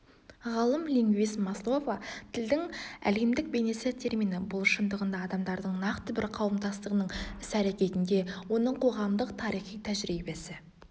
ғалым-лингвист маслова тілдің әлемдік бейнесі термині бұл шындығында адамдардың нақты бір қауымдастығының іс-әрекетінде оның қоғамдық-тарихи тәжірибесі